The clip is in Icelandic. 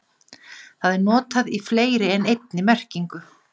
Það er notað í fleiri en einni merkingu.